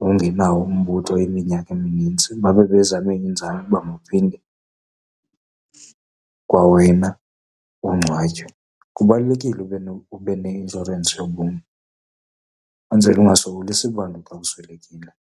ungenawo umbutho iminyaka eminintsi, babe bezame iinzame uba mawuphinde kwawena ungcwatywe. Kubalulekile ube , ube neinshorensi yobomi, ukwenzela ungasokolisi bantu xa uswelekile.